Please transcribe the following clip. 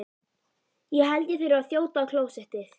Ég held ég þurfi að þjóta á klósettið.